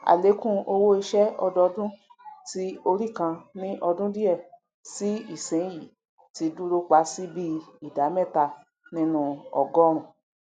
àlékún owóiṣẹ ọdọọdún tí orí kan ní ọdún díẹ sí ìsiìyìn ti dúró pa sí bii ìdá mẹtaa nínú ọgọrùn